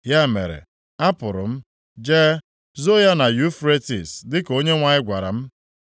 Ya mere, apụrụ m, jee, zoo ya na Yufretis dịka Onyenwe anyị gwara m.